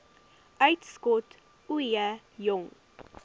uitskot ooie jong